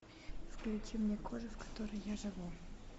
включи мне кожа в которой я живу